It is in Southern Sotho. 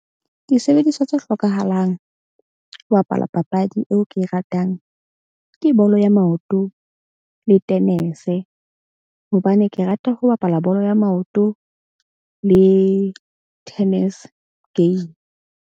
Disebediswa tse hlokahalang ho bapala papadi eo ke e ratang ke bolo ya maoto le tenese. Hobane ke rata ho bapala bolo ya maoto le tennis game.